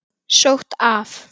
Sótt af